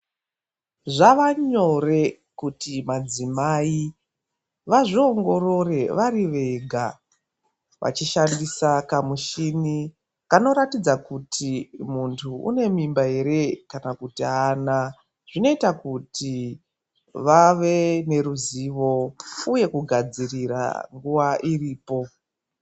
Zvavanyore kuti madzimai vazviongorore vari vega vachishandisa kamushini kanoratidza kuti muntu une mimba ere kana kuti aana. Zvinoita kuti vave neruzivo uye kugadzirira nguva iripo.